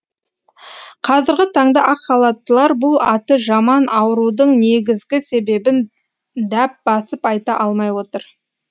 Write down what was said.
қазіргі таңда ақ халаттылар бұл аты жаман аурудың негізгі себебін дәп басып айта алмай отыр